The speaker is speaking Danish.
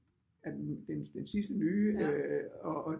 Er den sidste nye øh og